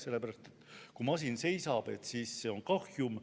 Sellepärast, et kui masin seisab, siis see on kahjum.